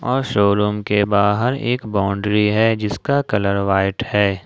और शोरूम के बाहर एक बाउंड्री है जिसका कलर व्हाइट है।